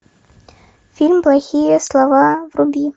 фильм плохие слова вруби